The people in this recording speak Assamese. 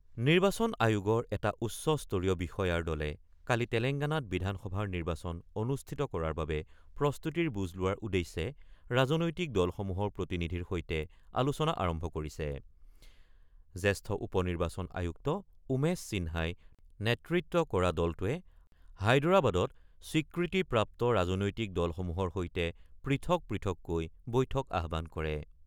নিৰ্বাচন আয়োগৰ এটা উচ্চ স্তৰীয় বিষয়াৰ দলে কালি তেলেংগানাত বিধানসভাৰ নিৰ্বাচন অনুষ্ঠিত কৰাৰ বাবে প্ৰস্তুতিৰ বুজ লোৱাৰ উদ্দেশ্যে ৰাজনৈতিক দলসমূহৰ প্ৰতিনিধিৰ সৈতে আলোচনা আৰম্ভ কৰিছে৷ জ্যেষ্ঠ উপ - নিৰ্বাচন আয়ুক্ত উমেশ সিন্হাই নেতৃত্ব কৰা দলটোৱে হায়দৰাবাদত স্বীকৃতিপ্ৰাপ্ত ৰাজনৈতিক দলসমূহৰ সৈতে পৃথক পৃথককৈ বৈঠক আহ্বান কৰে।